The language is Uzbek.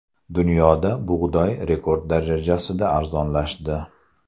Dunyoda bug‘doy rekord darajasida arzonlashdi.